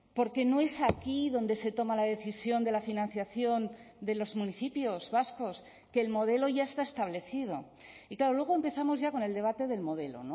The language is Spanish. porque no es aquí donde se toma la decisión de la financiación de los municipios vascos que el modelo ya está establecido y claro luego empezamos ya con el debate del modelo